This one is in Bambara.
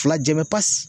Fila jabɛti